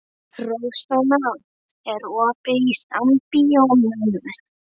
Rósanna, er opið í Sambíóunum?